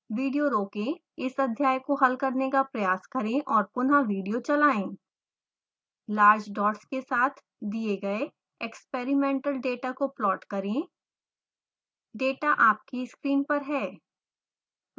video रोकें इस अध्याय को हल करने का प्रयास करें और पुनः विडियो चलाएं